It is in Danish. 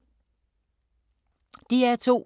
DR2